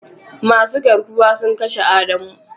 Masu garkuwa sun kashe adamu.